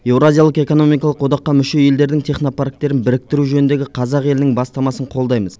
еуразиялық экономикалық одаққа мүше елдердің технопарктерін біріктіру жөніндегі қазақ елінің бастамасын қолдаймыз